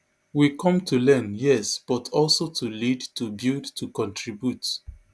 we come to learn yes but also to lead to build to contribute